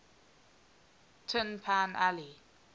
tin pan alley